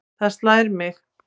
Það slær mig.